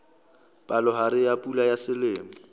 palohare ya pula ya selemo